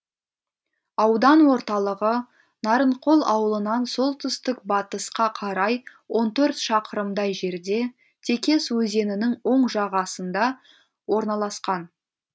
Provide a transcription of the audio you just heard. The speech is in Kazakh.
аудан орталығы нарынқол ауылынан солтүстік батысқа қарай он төрт шақырымдай жерде текес өзенінің оң жағасында орналасқан